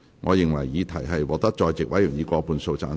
我認為議題獲得在席委員以過半數贊成。